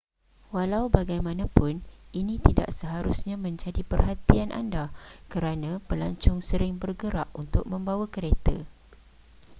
walau bagaimanapun ini tidak seharusnya menjadi perhatian anda kerana pelancong sering bergerak untuk membawa kereta